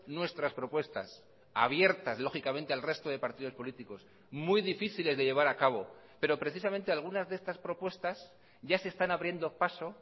nuestras propuestas abiertas lógicamente al resto de partidos políticos muy difíciles de llevar a cabo pero precisamente algunas de estas propuestas ya se están abriendo paso